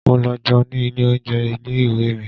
Mo lọ jẹun ní ilé oúnjẹ ilé ìwé mi.